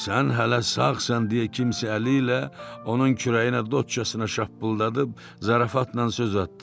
Sən hələ sağsan deyə kimsə əli ilə onun kürəyinə dotçasına şappıldadıb zarafatla söz atdı.